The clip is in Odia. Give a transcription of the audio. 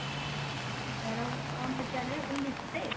ତାର କଣ ପଚାରିଲେ ଆପଣ display?